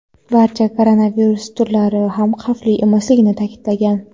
barcha koronavirus turlari ham xavfli emasligini ta’kidlagan.